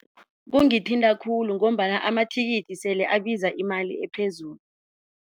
Kungithinta khulu ngombana amathikithi sele abiza imali ephezulu.